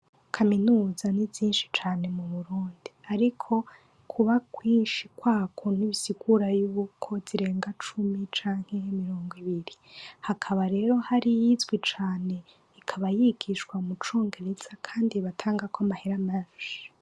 Kaminuza ni zinshi mu Burundi ariko kuba nyinshi kwako ntibisigura yuko zirenga cumi canke mirongo ibiri. Hakaba rero hari iyizwi cane ikaba yigisha mucongereza kandi batangako amahera menshi.